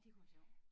Det kunne være sjov